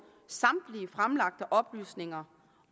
samtlige fremlagte oplysninger